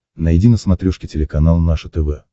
найди на смотрешке телеканал наше тв